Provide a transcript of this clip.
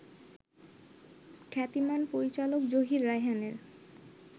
খ্যাতিমান পরিচালক জহির রায়হানের